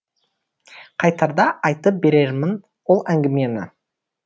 қайтарда айтып берермін ол әңгімені